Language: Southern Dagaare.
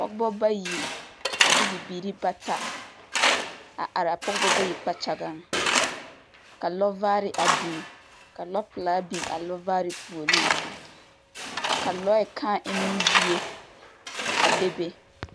Pɔgebɔ bayi, a de bibiiri bata, a araa pɔgebɔ bayi kpakyagaŋ, ka lɔɔvaare a biŋ, ka lɔɔpelaa araa lɔɔvaare puoriŋ. Ka lɔɛ kāā emmo zie a be be.